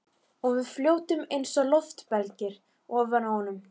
Og við fljótum einsog loftbelgir ofan á honum.